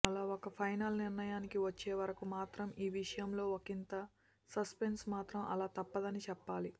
అలా ఒక ఫైనల్ నిర్ణయినికి వచ్చే వరకు మాత్రం ఈ విషయంలో ఒకింత సస్పెన్స్ మాత్రం అలా తప్పదని చెప్పాలి